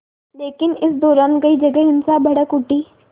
लेकिन इस दौरान कई जगह हिंसा भड़क उठी